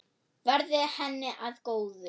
Verði henni að góðu.